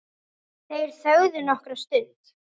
Þeir þögðu nokkra stund.